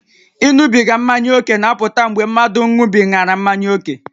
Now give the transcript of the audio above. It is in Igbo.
Ịṅụbiga mmanya ókè na-apụta mgbe mmadụ ṅụbigara mmanya ókè